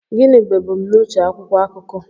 Gịnị bụ ebumnuche akwụkwọ akụkọ